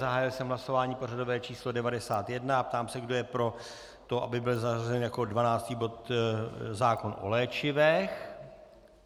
Zahájil jsem hlasování pořadové číslo 91 a ptám se, kdo je pro to, aby byl zařazen jako 12. bod zákon o léčivech.